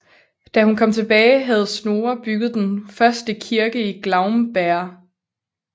Da hun kom tilbage havde Snorre bygget den første kirke i Glaumbær